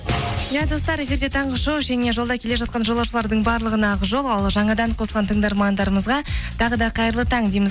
иә достар эфирде таңғы шоу және жолда келе жатқан жолаушылардың барлығына ақ жол ал жаңадан қосылған тыңдармандарымызға тағы да қайырлы таң дейміз